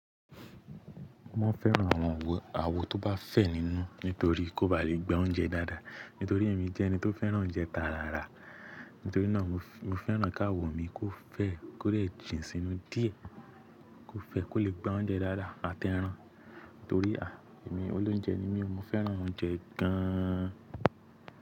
Mo fẹ́ran àwọn àwo tó bá fẹ̀ nínú nítorí kó ba lè gba oúnjẹ dáadáa. Nítorí èmi jẹ́ ẹni tó fẹ́ran oúnjẹ tàràrà, nítorí náà mo fẹ́ran kà áwo mi kó fẹ̀, kó lè jìn sínú díẹ̀, kó fẹ̀ kó lè gba oúnjẹ dáadáa àti ẹran. Nítorí a, èmi olóúnjẹ ni mí o, mo fẹ́ran oúnjẹ gán an.